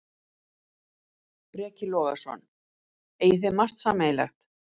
Breki Logason: Eigið þið margt sameiginlegt?